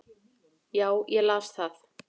Já, ég las það